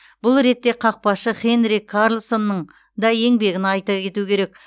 бұл ретте қақпашы хенрик карлссонның да еңбегін айта кету керек